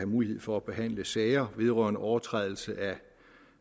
mulighed for at behandle sager vedrørende overtrædelse af